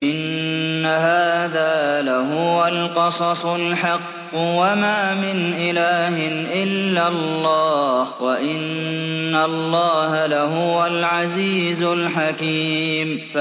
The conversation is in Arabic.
إِنَّ هَٰذَا لَهُوَ الْقَصَصُ الْحَقُّ ۚ وَمَا مِنْ إِلَٰهٍ إِلَّا اللَّهُ ۚ وَإِنَّ اللَّهَ لَهُوَ الْعَزِيزُ الْحَكِيمُ